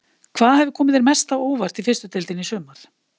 Hvað hefur komið þér mest á óvart í fyrstu deildinni í sumar?